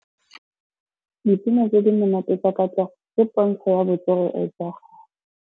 Dipina tse di monate tsa Katlego ke pôntshô ya botswerere jwa gagwe.